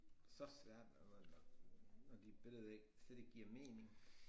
Så svært og når når dit billede ikke slet ikke giver mening